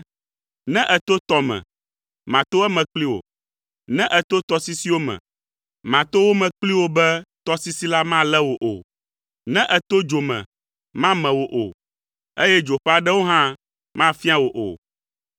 Ne èto tɔ me, mato eme kpli wò, ne èto tɔsisiwo me, mato wo me kpli wò be tɔsisi la malé wò o. Ne èto dzo me mame wò o, eye dzo ƒe aɖewo hã mafia wò o,